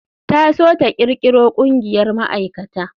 Ta so ta kirkiro ƙungiyar ma'aikata.